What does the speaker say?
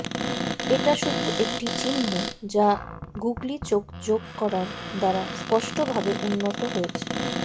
এটা শুধু একটি চিহ্ন যা গুগলি চোখ যোগ করার দ্বারা স্পষ্টভাবে উন্নত হয়েছে